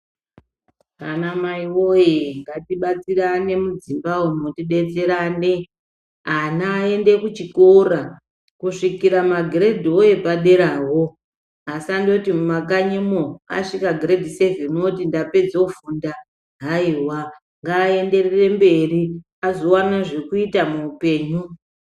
Anamai woye ngatibatsirane mudzimba umu tibetserane ana aende kuchikora. Kusvikira magiredhiwo epaderawo asandoto mumakanyimo asvika girendi sevheni anoti ndapedze kufunda haiva. Ngaenderere mberi azovana zvekuita muupenyu.